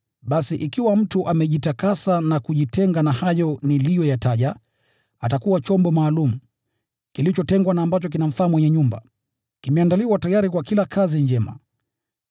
Basi ikiwa mtu amejitakasa na kujitenga na hayo niliyoyataja, atakuwa chombo maalum, kilichotengwa na ambacho kinamfaa mwenye nyumba, kimeandaliwa tayari kwa kila kazi njema.